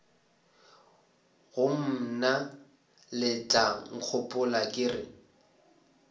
go mna letlankgopola ke re